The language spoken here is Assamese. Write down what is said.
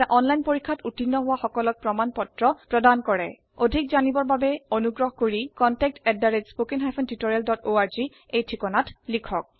এটা অনলাইন পৰীক্ষাত উত্তীৰ্ণ হোৱা সকলক প্ৰমাণ পত্ৰ প্ৰদান কৰে অধিক জানিবৰ বাবে অনুগ্ৰহ কৰি contactspoken tutorialorg এই ঠিকনাত লিখক